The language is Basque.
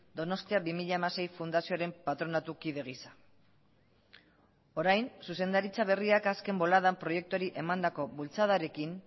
donostia bi mila hamasei fundazioaren patronatu kide gisa orain zuzendaritza berriak azken boladan proiektuari emandako bultzadarekin